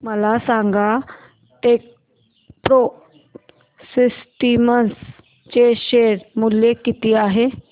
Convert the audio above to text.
मला सांगा Techpro Systems चे शेअर मूल्य किती आहे